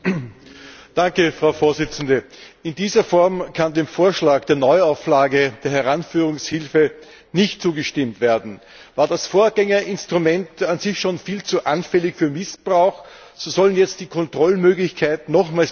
Frau Präsidentin! In dieser Form kann dem Vorschlag der Neuauflage der Heranführungshilfe nicht zugestimmt werden. War das Vorgängerinstrument an sich schon viel zu anfällig für Missbrauch, so sollen jetzt die Kontrollmöglichkeiten nochmals beschnitten werden.